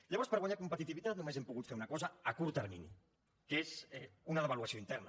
llavors per guanyar competitivitat només hem pogut fer una cosa a curt termini que és una devaluació interna